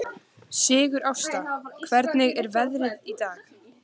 Sigurásta, hvernig er veðrið í dag?